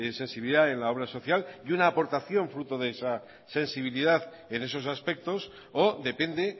sensibilidad en la obra social y una aportación fruto de esa sensibilidad en esos aspectos o depende